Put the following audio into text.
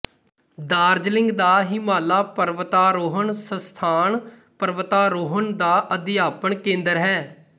ਦਾਰਜਲਿੰਗ ਦਾ ਹਿਮਾਲਾ ਪਰਵਤਾਰੋਹਣ ਸੰਸਥਾਨ ਪਰਵਤਾਰੋਹਣ ਦਾ ਅਧਿਆਪਨ ਕੇਂਦਰ ਹੈ